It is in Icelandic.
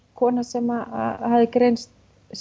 kona sem hafi greinst